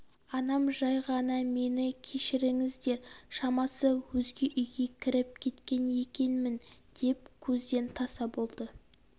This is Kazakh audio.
анам жай ғана мені кешіріңіздер шамасы өзге үйге кіріп кеткен екенмін деп көзден таса болды